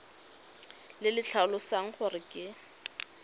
le le tlhalosang gore ke